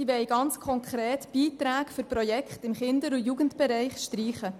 Die Massnahme will konkret mögliche Beiträge für Kinder- und Jugendprojekte streichen.